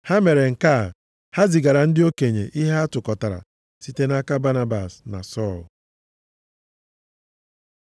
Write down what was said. Ha mere nke a, ha zigara ndị okenye ihe ha tụkọtara, site nʼaka Banabas na Sọl.